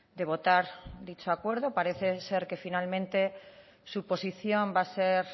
de votar dicho acuerdo parece ser que finalmente su posición va a ser